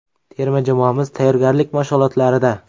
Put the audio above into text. Terma jamoamiz tayyorgarlik mashg‘ulotlarida.